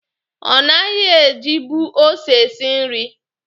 Ọ naghị ejibu ose esi nri.